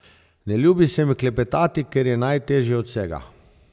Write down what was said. Ne ljubi se mi klepetati, ker je najteže od vsega.